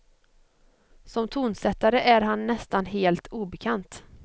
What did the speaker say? Som tonsättare är han nästan helt obekant.